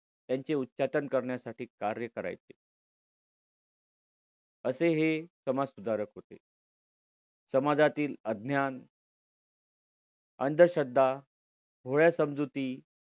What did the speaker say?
त्यांचे उच्चातन करण्यासाठी कार्य करायचे असे हे समाजसुधारक होते समाजातील अज्ञान अंधश्रद्धा भोळ्या समजुती